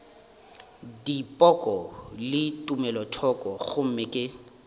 dipoko le tumelothoko gomme ke